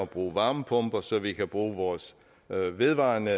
bruge varmepumper så vi kan bruge vores vedvarende